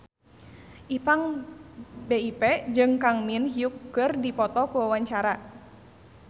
Ipank BIP jeung Kang Min Hyuk keur dipoto ku wartawan